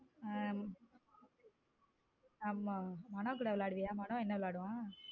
ஹம் ஆமா மனோ கூட வேலையடுவிய மனோ என்ன விளையாடும்.